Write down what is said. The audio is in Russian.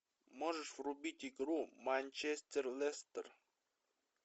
можешь врубить игру манчестер лестер